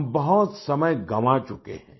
हम बहुत समय गवां चुके हैं